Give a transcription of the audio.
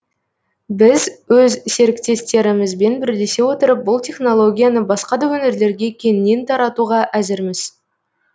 біз өз серіктестерімізбен бірлесе отырып бұл технолгияны басқа да өңірлерге кеңінен таратуға әзірміз